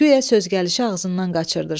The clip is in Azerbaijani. Guya söz gəlişi ağzından qaçırdırsan.